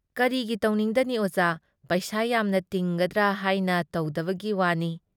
ꯀꯔꯤꯒꯤ ꯇꯧꯅꯤꯡꯗꯅꯤ ꯑꯣꯖꯥ ꯫ ꯄꯩꯁꯥ ꯌꯥꯝꯅ ꯇꯤꯡꯒꯗ꯭ꯔꯥ ꯍꯥꯏꯅ ꯇꯧꯗꯕꯒꯤ ꯋꯥꯅꯤ ꯫